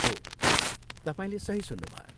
हो, तपाईँले सही सुन्नुभयो।